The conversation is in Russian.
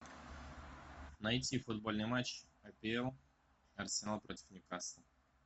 найти футбольный матч апл арсенал против ньюкасла